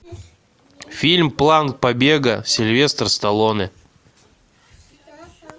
фильм план побега сильвестр сталлоне